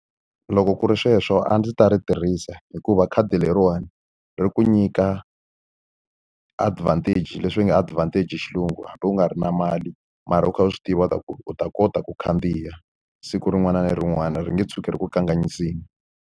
Loko ku ri sweswo a ndzi ta ri tirhisa, hikuva khadi leriwani ri ku nyika advantage leswi hi nge advantage hi xilungu. Hambi u nga ri na mali, mara u kha u swi tiva leswaku u kota ku khandziya siku rin'wana na rin'wana. Ri nge tshuki ri ku kanganyisile.